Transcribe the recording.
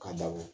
Ka dako